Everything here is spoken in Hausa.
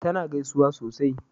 ta na gaisuwa sosai